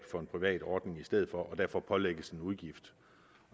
for en privat ordning i stedet for og derfor pålægges en udgift